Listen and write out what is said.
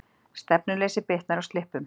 Stefnuleysi bitnar á slippum